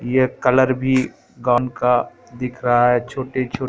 ये कलर भी काम का दिख रहा हैं छोटे-छोटे--